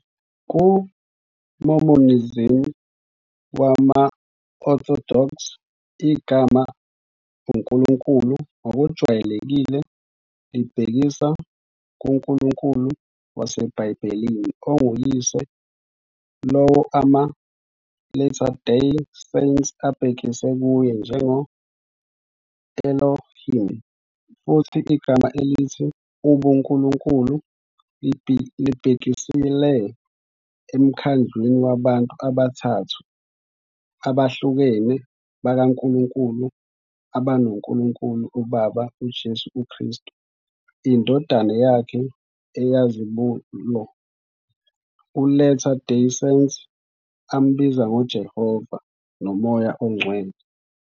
Ku-Mormonism wama-orthodox, igama "uNkulunkulu" ngokujwayelekile libhekisa kuNkulunkulu wasebhayibhelini onguYise, lowo ama-Latter Day Saints abhekise kuye njengo-"Elohim", futhi igama elithi "ubuNkulunkulu" libhekisele emkhandlwini wabantu abathathu abahlukene bakaNkulunkulu abanoNkulunkulu uBaba, uJesu Kristu, iNdodana yakhe eyizibulo, uLatter Day Saints ambiza "ngoJehova", noMoya oNgcwele.